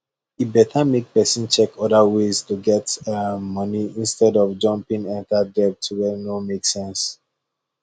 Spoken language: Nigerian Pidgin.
e better make person check other ways to get um money instead of jumping enter debt wey no make sense